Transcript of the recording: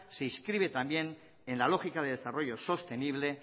se inscribe también en la lógica de desarrollo sostenible